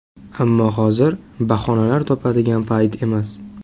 Ammo hozir bahonalar topadigan payt emas.